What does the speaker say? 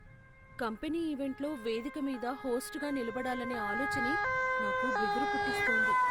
Company ఈవెంట్లో వేదిక మీద హోస్ట్గా నిలబడాలనే ఆలోచనే నాకు బెదురు పుట్టిస్తోంది.